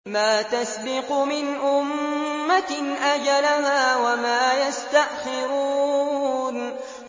مَا تَسْبِقُ مِنْ أُمَّةٍ أَجَلَهَا وَمَا يَسْتَأْخِرُونَ